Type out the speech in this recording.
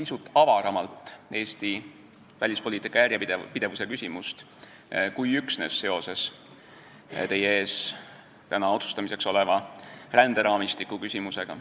Ma püüan Eesti välispoliitika järjepidevuse teemat käsitleda pisut avaramalt kui üksnes seoses täna teie ees otsustamiseks oleva ränderaamistiku küsimusega.